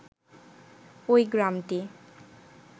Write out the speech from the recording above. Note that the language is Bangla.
ওই গ্রামটি